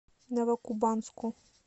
новокубанску